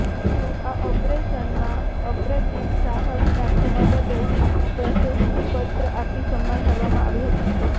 તેમનું આ ઓપરેશનમાં અપ્રતિમ સાહસ દાખવવા બદલ પ્રશસ્તિ પત્ર આપી સમ્માન કરવામાં આવ્યું હતું